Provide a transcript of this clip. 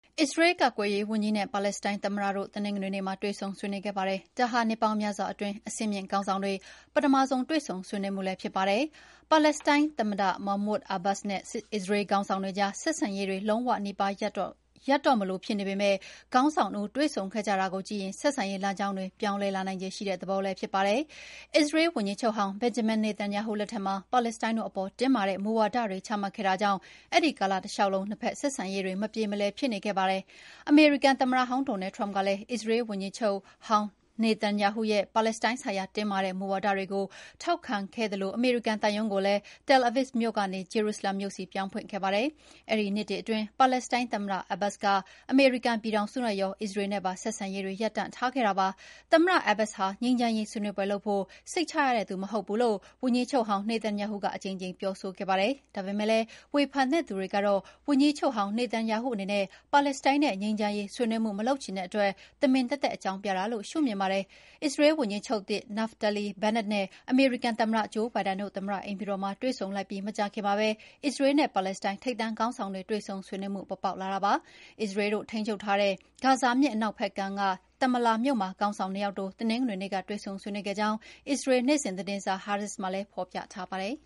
အစ္စရေးလ် ကာကွယ်ရေးဝန်ကြီးနဲ့ ပါလက်စတိုင်း သမ္မတတို့တနင်္ဂနွေနေ့မှာ နှစ်ပေါင်းများစွာအတွင်း အဆင့်မြင့်ခေါင်းဆောင်တွေ ပထမဆုံး တွေ့ဆုံဆွေးနွေးခဲ့ကြပါတယ်။ ပါလက်စတိုင်း သမ္မတ Mahmound Abbas နဲ့ အစ္စရေးလ်ခေါင်းဆောင်တွေကြား ဆက်ဆံရေးတွေ လုံးဝနီးပါး ရပ်သွားတော့မလိုဖြစ်နေပေမယ့် ဒီအစည်းအဝေးရ ဆက်ဆံရေးလမ်းကြောင်းတွေ ပြောင်းလဲလာနိုင်ခြေရှိတဲ့ သဘောလည်းဖြစ်ပါတယ်။ အစ္စရေးလ် ဝန်ကြီးချုပ်ဟောင်း Benjamin Netanyahu လက်ထက်မှာ လက်စတိုင်းတို့အပေါ် တင်းမာတဲ့မူဝါဒတွေချမှတ်ခဲ့တာကြောင့် အဲဒီကာလတလေ ျှာက်လုံး နှစ်ဖက် ဆက်ဆံရေးတွေ မပြေမလည်ဖြစ်ခဲ့တာပါ။ အမေရိကန်သမ္မတဟောင်း Donald Trump ကလည်း အစ္စရေးလ်ဝန်ကြီးချုပ်ဟောင်း Netanyahu ရဲ့ ပါလက်စတိုင်းဆိုင်ရာ မူဝါဒတွေကို ထောက်ခံခဲ့သလို အမေရိကန်သံရုံးကိုလည်း Tel Avid မြို့ကနေ Jerusalem မြို့ဆီပြောင်းဖွင့်ခဲ့ပါတယ်။ အဲဒီနှစ်တွေအတွင်း ပါလက်စတိုင်းသမ္မတ Abbas က အမေရိကန်ပြည်ထောင်စုနဲ့ရော အစရေးလ်နဲ့ပါ ဆက်ဆံရေးတွေ ရပ်တန့်ထားခဲ့တာဖြစ်ပါတယ်။ သမ္မတ Abbas ဟာ ငြိမ်းချမ်းရေးဆွေးနွေးပွဲလုပ်ဖို့ စိတ်ချရတဲ့သူမဟုတ်ဘူးလို့ ဝန်ကြီးချုပ်ဟောင်း နေသန်ယာဟုက အကြိမ်ကြိမ်ပြောဆိုခဲ့ပါတယ်။ ဒါပေမယ့်လည်း ဝန်ကြီးချုပ်ဟောင်း နေသန်ယာဟုအပေါ် ဝေဖန်တဲ့သူ တွေကတော့ ငြိမ်းချမ်းရေးဆွေးနွေးမှု မလုပ်ချင်တဲ့အတွက် တမင်သက်သက်အကြောင်းပြချက်အဖြစ် ရှုမြင်ကြပါတယ်။ အစ္စရေးလ်ဝန်ကြီးချုပ်သစ် Naftali Bennett နဲ့ အမေရိကန်သမ္မတ Joe Biden တို့ သမ္မတ အိမ်ဖြူတော်မှာ တွေ့ဆုံလိုက်ပြီးမကြာခင်မှာပဲ အစ္စရေလ်းနဲ့ ပါလက်စတိုင်း ထိပ်တန်းခေါင်းဆောင်တွေ တွေ့ဆုံဆွေးနွေးမှု ပေါ်ပေါက်လာတာလည်းဖြစ်ပါတယ်။ အစ္စရေးတို့ ထိန်းချုပ်ထားတဲ့ ဂါဇာမြစ်အနောက်ဖက်ကမ်းက Tamallah မြို့မှာ ခေါင်းဆောင် ၂ ယောက်တို့ရဲ့ တင်္ဂနွေနေ့က တွေ့ဆုံဆွေးနွေးခဲ့ကြောင်း အစ္စရေးလ် နေ့စဉ်သတင်းစာ Haaretz မှာ ဖော်ပြထားပါတယ်။